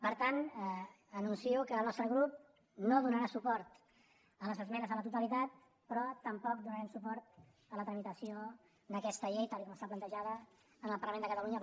per tant anuncio que el nostre grup no donarà suport a les esmenes a la totalitat però tampoc donarem suport a la tramitació d’aquesta llei tal com està plantejada en el parlament de catalunya